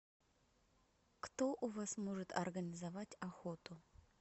кто у вас может организовать охоту